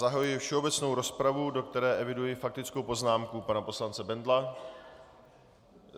Zahajuji všeobecnou rozpravu, do které eviduji faktickou poznámku pana poslance Bendla...